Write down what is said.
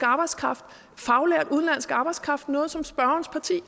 arbejdskraft faglært udenlandsk arbejdskraft noget som spørgerens parti